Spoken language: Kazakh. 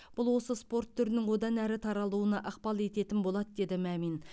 бұл осы спорт түрінің одан әрі таралуына ықпал ететін болады деді мәмин